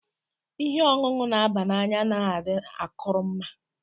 Ìhè ọṅụṅụ na aba n'anya anaghị adị akụrụ mma.